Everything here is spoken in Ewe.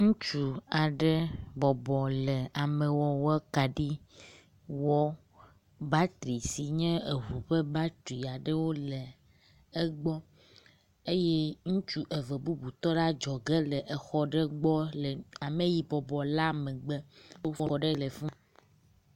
Ŋutsu aɖe bɔbɔ le amewɔwɔ kaɖi wɔ. Batri si nye eŋu ƒe batri aɖewo le egbɔ eye ŋutsu eve bubu tɔ ɖe adɔge le exɔ ɖe gbɔ le ameyi bɔbɔ la megbe. …….